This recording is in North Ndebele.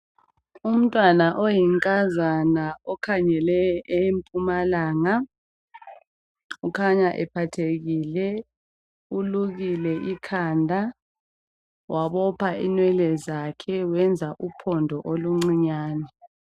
Umntwana oyinkazana okhangele empumalanga ukhanya ephathekile, ulukile ikhanda wabopha inwele zakhe wenza uphondo oluncinyane.